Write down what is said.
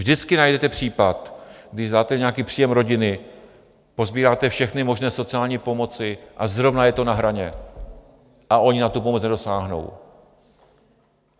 Vždycky najdete případ, když dáte nějaký příjem rodiny, posbíráte všechny možné sociální pomoci, a zrovna je to na hraně a oni na tu pomoc nedosáhnou.